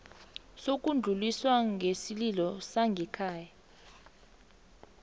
sokudluliswa kwesililo sangekhaya